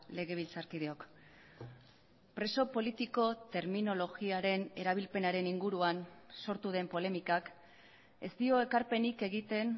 legebiltzarkideok preso politiko terminologiaren erabilpenaren inguruan sortu den polemikak ez dio ekarpenik egiten